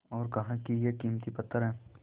और कहा कि यह कीमती पत्थर है